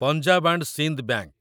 Punjab and Sind bank